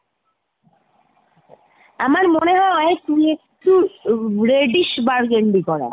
আমার মনে হয় তুই একটু reddish burgundy করা।